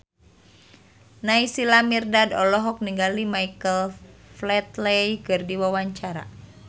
Naysila Mirdad olohok ningali Michael Flatley keur diwawancara